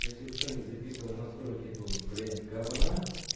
если кто не записывал настройки этого блять говна